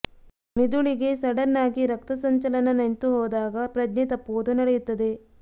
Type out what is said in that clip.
ಮಿದುಳಿಗೆ sudden ಆಗಿ ರಕ್ತ ಸಂಚಲನ ನಿಂತುಹೋದಾಗ ಪ್ರಜ್ಞೆ ತಪ್ಪುವುದು ನಡೆಯುತ್ತದೆ